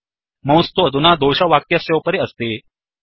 mouse तु अधुना दोष वाक्यस्योपरि अस्ति